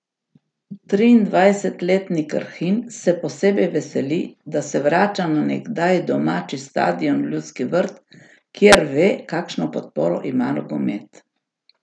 Triindvajsetletni Krhin se posebej veseli, da se vrača na nekdaj domači stadion v Ljudski vrt, kjer ve, kakšno podporo ima nogomet.